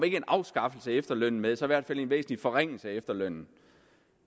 ikke en afskaffelse af efterlønnen med så i hvert fald en væsentlig forringelse af efterlønnen